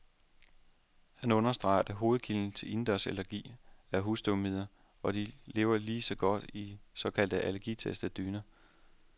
Han understreger, at hovedkilden til indendørsallergi er husstøvmiden, og de lever lige så godt i de såkaldt allergitestede dyner.